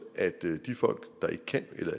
at de folk der ikke kan eller